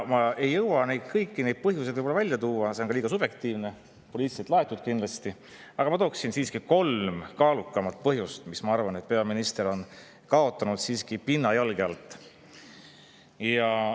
Ma ei jõua neid kõiki põhjuseid välja tuua, see on ka liiga subjektiivne, poliitiliselt laetud kindlasti, aga ma tooksin siiski esile kolm kaalukamat põhjust, miks ma arvan, et peaminister on siiski kaotanud pinna jalge alt.